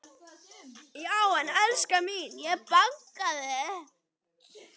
Já en elskan mín. ég bankaði!